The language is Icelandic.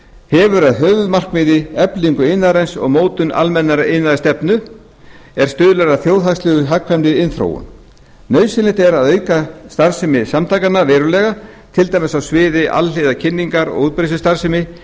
hefur að höfuðmarkmiði eflingu iðnaðarins og mótun almennrar iðnaðarstefnu er stuðlar að þjóðhagslega hagkvæmri iðnþróun nauðsynlegt er að auka starfsemi samtakanna verulega til dæmis á sviði alhliða kynningar og útbreiðslustarfsemi